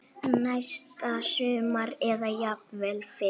Næsta sumar eða jafnvel fyrr.